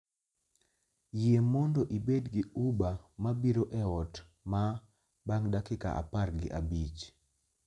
Yie mondo ibed gi uber mabiro e ot maa bang' dakika apar gi abich